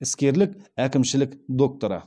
іскерлік әкімшілік докторы